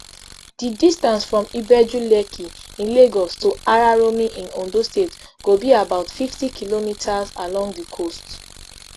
di distance from ibejulekki in lagos to araromi in ondo state go be about fifty kilometres along di coast